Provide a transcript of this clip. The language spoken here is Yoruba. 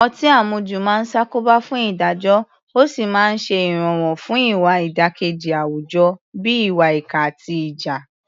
Ọtí àmujù máa ń ṣàkóbá fún ìdájọ́ ó sì ń ṣe ìrànwọ́ fún ìwà ìdàkejì àwùjọ bíi ìwà ìkà àti ìjà.